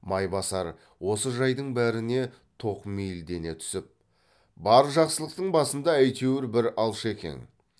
майбасар осы жайдың бәріне тоқмейілдене түсіп бар жақсылықтың басында әйтеуір бір алшекең